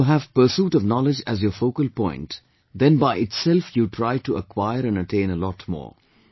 If you have pursuit of knowledge as your focal point, then by itself you try to acquire and attain a lot more